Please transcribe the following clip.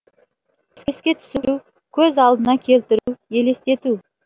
еске түсіру көз алдына келтіру елестету